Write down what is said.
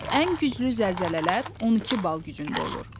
Ən güclü zəlzələlər 12 bal gücündə olur.